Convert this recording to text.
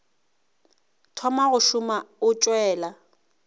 thoma go šoma o tšwela